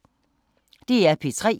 DR P3